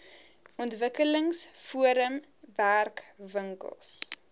ontwikkelings forum werkwinkels